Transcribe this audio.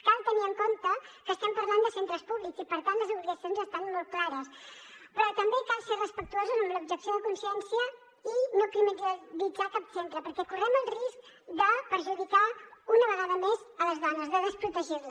cal tenir en compte que estem parlant de centres públics i per tant les obligacions estan molt clares però també cal ser respectuosos amb l’objecció de consciència i no criminalitzar cap centre perquè correm el risc de perjudicar una vegada més les dones de desprotegir les